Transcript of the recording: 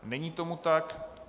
Není tomu tak.